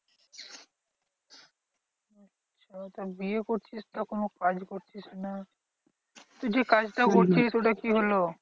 তবে বিয়ে করছিস তো কোনো কাজ করছিস না? তুই যে কাজটা করছিলিস ওটা কি হলো?